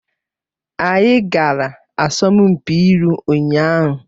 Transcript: Anyị gara asọmpi ilu ụnyaahụ